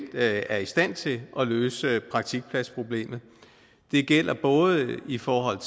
er i stand til at løse praktikpladsproblemet det gælder både i forhold